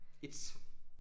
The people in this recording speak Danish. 1